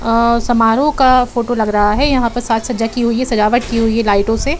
अ समारोह का फोटो लग रहा है। यहाँ प साज सज्जा की हुई है। सजावट की हुई है लाइटों से।